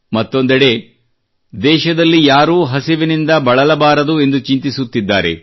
ಮತ್ತೊಂದೆಡೆ ದೇಶದಲ್ಲಿ ಯಾರೂ ಹಸಿವಿನಿಂದ ಬಳಲಬಾರದು ಎಂದು ಚಿಂತಿಸುತ್ತಿದ್ದಾರೆ